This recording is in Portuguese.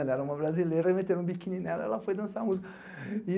Era uma brasileira e meteram um biquíni nela e ela foi dançar a música.